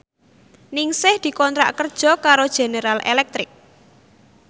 Ningsih dikontrak kerja karo General Electric